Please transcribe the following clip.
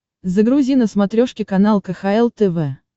загрузи на смотрешке канал кхл тв